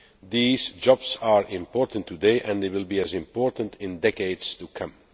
These jobs are important today and they will be as important in decades to come.